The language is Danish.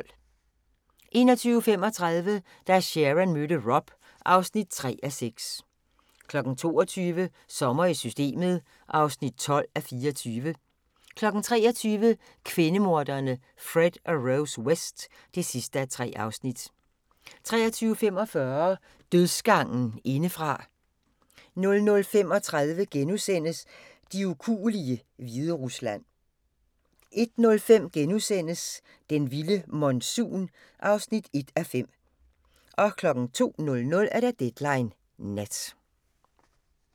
21:35: Da Sharon mødte Rob (3:6) 22:00: Sommer i Systemet (12:24) 23:00: Kvindemorderne Fred og Rose West (3:3) 23:45: Dødsgangen indefra 00:35: De ukuelige – Hviderusland * 01:05: Den vilde monsun (1:5)* 02:00: Deadline Nat